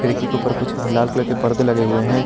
खिड़की के ऊपर कुछ लाल कलर के परदे लगे हुए हैं।